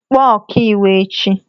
Kpọọ ọkà iwu echi!